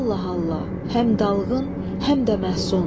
Allah-Allah, həm dalğın, həm də məhsus.